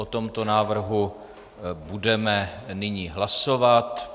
O tomto návrhu budeme nyní hlasovat.